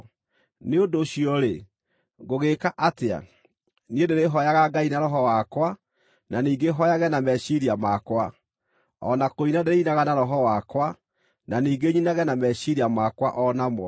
Nĩ ũndũ ũcio-rĩ, ngũgĩĩka atĩa? Niĩ ndĩrĩhooyaga Ngai na roho wakwa, na ningĩ hooyage na meciiria makwa; o na kũina ndĩrĩinaga na roho wakwa, na ningĩ nyinage na meciiria makwa o namo.